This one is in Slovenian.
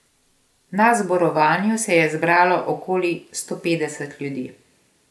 Na zborovanju se je zbralo okoli stopetdeset ljudi.